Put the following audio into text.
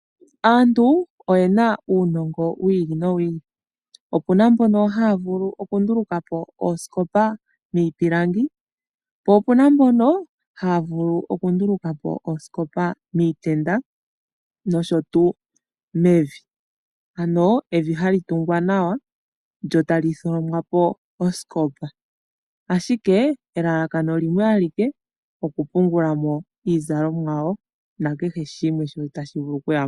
Aantu oye na uunongo wi ili nowi ili. Opena mbono ha ya vulu okundulukapo oosikopa dhiipilangi po o pu na mbono ha ya vulu okundulukapo oosikopa miitenda nosho tuu mevi , ano evi ha li tungwa nawa lyo talitholomwapo moosikopa ashike elalakano limwe alike lyokupungulamo iizalomwa yawo na kehe shimwe shono ta shi vulu okuyamo.